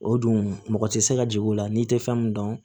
O dun mɔgɔ tɛ se ka jigin o la n'i tɛ fɛn min dɔn